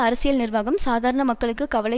அரசியல் நிர்வாகம் சாதாரண மக்களுக்கு கவலை